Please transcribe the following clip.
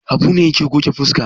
Habu ne yake goge fuska.